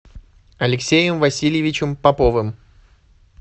алексеем васильевичем поповым